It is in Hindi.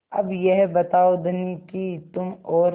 अब यह बताओ धनी कि तुम और